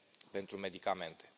pentru Medicamente.